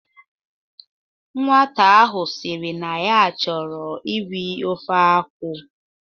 Nwata ahụ sịrị na ya chọrọ iri ofe akwụ